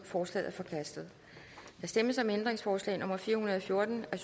forslaget er forkastet der stemmes om ændringsforslag nummer fire hundrede og fjorten af